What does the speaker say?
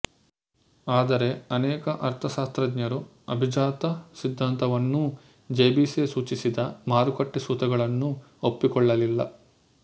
ಆದರೆ ಅನೇಕ ಅರ್ಥಶಾಸ್ತ್ರಜ್ಞರು ಅಭಿಜಾತ ಸಿದ್ಧಾಂತವನ್ನೂ ಜೆ ಬಿ ಸೇ ಸೂಚಿಸಿದ ಮಾರುಕಟ್ಟೆ ಸೂತ್ರಗಳನ್ನೂ ಒಪ್ಪಿಕೊಳ್ಳಲಿಲ್ಲ